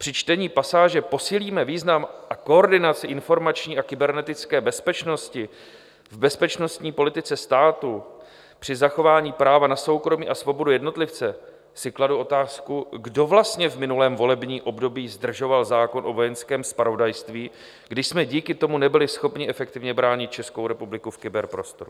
Při čtení pasáže "Posílíme význam a koordinaci informační a kybernetické bezpečnosti v bezpečnostní politice státu při zachování práva na soukromí a svobodu jednotlivce" si kladu otázku, kdo vlastně v minulém volebním období zdržoval zákon o vojenském zpravodajství, kdy jsme díky tomu nebyli schopni efektivně bránit Českou republiku v kyberprostoru.